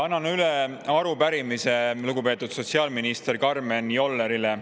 Annan üle arupärimise lugupeetud sotsiaalminister Karmen Jollerile.